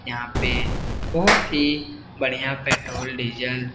यहाँ पे बहोत ही बढ़िया पेट्रोल डीजल --